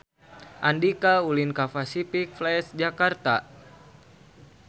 Andika ulin ka Pasific Place Jakarta